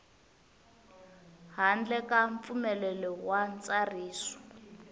handle ka mpfumelelo wa ntsariso